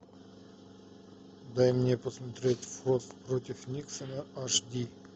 дай мне посмотреть форд против никсона аш ди